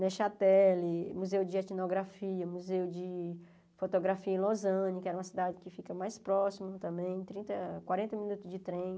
Nechateli, Museu de Etnografia, Museu de Fotografia em Los Angeles, que era uma cidade que fica mais próxima também, trinta quarenta minutos de trem.